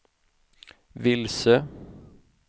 vilse